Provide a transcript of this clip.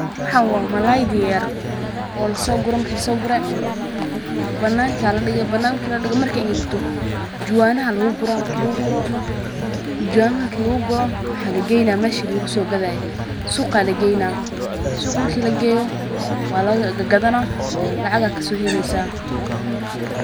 Waxan waa malayda yaryar oo lasogure marakilasoogure banaanka ayaa ladige banaanka marki ladigo markey engegto juwaanaha ayaa laguguro juwaanah marki laguguro waxaa lageyna meshi lagusooqadhaye suqa ayaa lageyna suqa marki lageyo waa lagadhana lacag ayaa kasooheleysa.